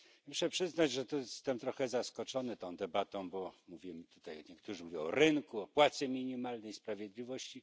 Muszę przyznać, że jestem trochę zaskoczony tą debatą, bo mówimy tutaj niektórzy mówią o rynku, o płacy minimalnej i o sprawiedliwości.